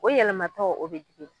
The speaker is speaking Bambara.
O yɛlɛmatɔ o be jigi